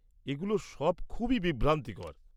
এগুলো সব খুবই বিভ্রান্তিকর।